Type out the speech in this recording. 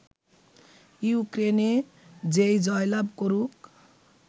ইউক্রেনে যেই জয়লাভ করুক